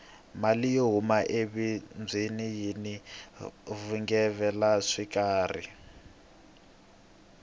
mali yo huma ebindzwini yini vugevenga xikarhi